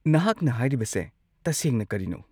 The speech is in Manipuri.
ꯅꯍꯥꯛꯅ ꯍꯥꯏꯔꯤꯕꯁꯦ ꯇꯁꯦꯡꯅ ꯀꯔꯤꯅꯣ?